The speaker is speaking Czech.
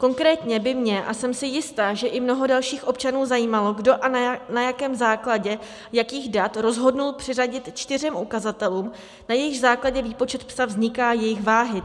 Konkrétně by mě, a jsem si jistá, že i mnoho dalších občanů, zajímalo, kdo a na jakém základě jakých dat rozhodl přiřadit čtyřem ukazatelům, na jejichž základě výpočet "psa" vzniká, jejich váhy.